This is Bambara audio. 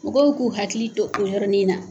Mɔgɔw k'u hakili to o yɔrɔnin na.